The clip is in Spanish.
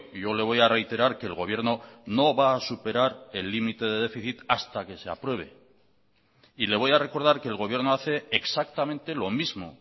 yo le voy a reiterar que el gobierno no va a superar el límite de déficit hasta que se apruebe y le voy a recordar que el gobierno hace exactamente lo mismo